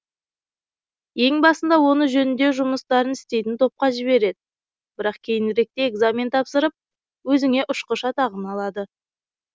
ең басында оны жөңдеу жұмыстарын істейтін топқа жібереді бірақ кейініректе экзамен тапсырып өзіңе ұшқыш атағын алады